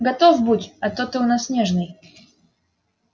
готов будь а то ты у нас нежный